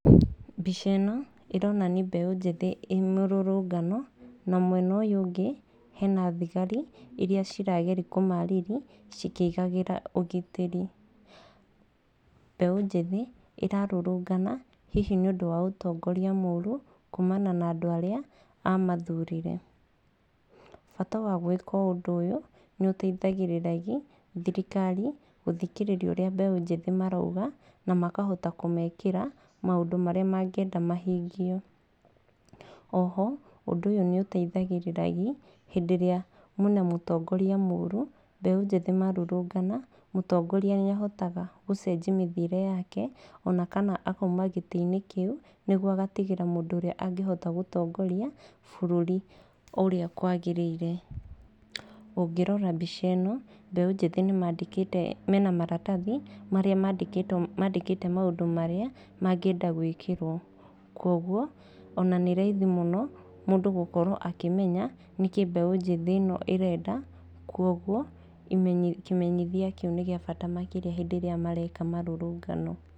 Mbica ĩno ĩronani mbeũ njĩthĩ ĩ mũrũrũngano, na mwena ũyũ ũngĩ hena thigari iria cirageri kũmarĩri cikĩigagĩra ũgitĩri. Mbeũ njĩthĩ ĩrarũrũngana hihi nĩ ũndũ wa ũtongoria mũru, kuumana na andũ arĩa mamathurire. Bata wa gwĩka ũndũ ũyũ nĩũteithagĩrĩragi thirikari gũthikĩrĩria ũrĩa mbeũ njĩthĩ marauga na makahota kũmekĩra maũndũ marĩa mangĩenda mahingio. Oho, ũndũ ũyũ nĩ ũteithagĩrĩraragi hĩndĩ ĩrĩa mwĩna mũtongoria mũru, mbeũ njĩthĩ marurungana, mũtongoria niahotaga gũcenjia mĩthiĩre yake ona kana akauma gĩtĩ-inĩ kĩu niguo agatigĩra mũndũ ũrĩa angĩhota gũtongoria bũrũri ũrĩa kwagĩrĩire. Ũngĩrora mbica ĩno, mbeũ njĩthĩ nĩ maandĩkĩte, mena maratathi marĩa maandĩkĩtwo maandĩkĩte maũndũ marĩa mangĩenda gwĩkĩrwo. Kuoguo ona nĩ raithi mũno mũndũ gũkorwo akĩmenya nĩ kĩĩ mbeũ njĩthĩ ĩno ĩrenda, kuoguo imenyi kĩmenyithia kĩu nĩ gĩa bata mũno makĩria hĩndĩ ĩrĩa mareka marũrũngano.